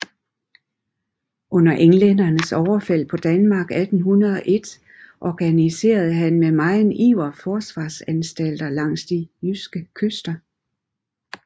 Under englændernes overfald på Danmark 1801 organiserede han med megen iver forsvarsanstalter langs de jyske kyster